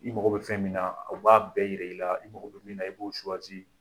I mako bɛ fɛn min na o b'a bɛɛ yira i la, i mako bƐ min na i b'o